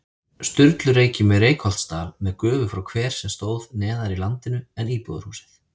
Sturlureykjum í Reykholtsdal með gufu frá hver sem stóð neðar í landinu en íbúðarhúsið.